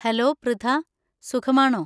Hello, Pritha. സുഖമാണോ?